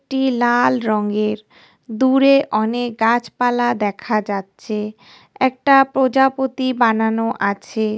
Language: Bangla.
টি লাল রঙের দূরে অনেক গাছপালা দেখা যাচ্ছে একটা প্রজাপতি বানানো আছে ।